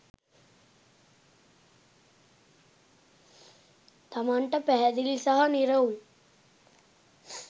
තමන්ට පැහැදිළි සහ නිරවුල්